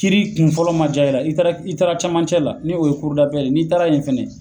Kiri kun fɔlɔ ma diya i la, i taara camancɛ la , ni o ye ye , n'i taara yen fana